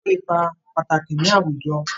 Wọ́n kó ipá pàtàkì ní àwùjọ.